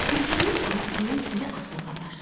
Tülkünün ağzının suyu axmağa başladı.